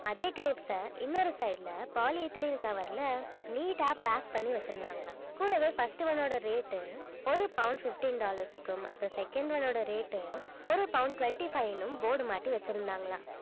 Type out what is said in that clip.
அதே grapes அ இன்னொரு side ல poly ethylene cover ல neat ஆ pack பண்ணி வச்சிருந்தாங்களாம் கூடவே first one ஓட rate உ ஒரு pound fifteen dollars க்கும் அப்புறம் second one ஓட rate உ ஒரு pound twenty five ன்னும் board மாட்டி வச்சிருந்தாங்களாம்